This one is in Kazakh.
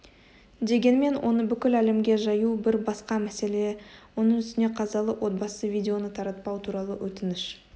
дегенмен оны бүкіл әлемге жаю бір басқа мәселе оның үстіне қазалы отбасы видеоны таратпау туралы өтініш